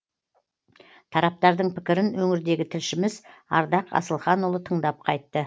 тараптардың пікірін өңірдегі тілшіміз ардақ асылханұлы тыңдап қайтты